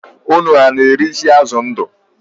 Ụnụ na-ere isi azụ ndu?